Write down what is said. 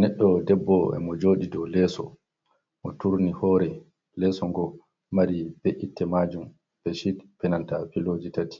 Neɗɗo ɗebbo e mojodi ɗow leso, mo turni hore, leso ngo mari be'itte majum be-shiɗ, e nanta piloji tati.